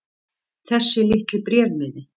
Þessi litli bréfmiði.